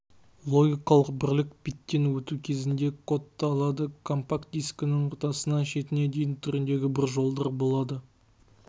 логикалық бірлік питтен өту кезінде кодталады компакт-дискінің ортасынан шетіне дейін түріндегі бір жолдар болады